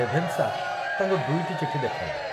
ରେଭେନ୍‌ଶା ତାଙ୍କୁ ଦୁଇଟି ଚିଠି ଦେଖାଇଲେ।